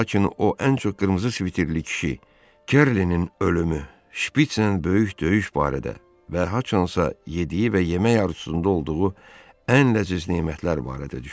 Lakin o ən çox qırmızı sviterli kişi, Kerlinin ölümü, Şpitzlə böyük döyüş barədə və haçansa yediyi və yemək arzusunda olduğu ən ləzziz nemətlər barədə düşünürdü.